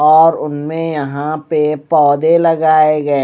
और उनमें यहां पे पौधे लगाए गए--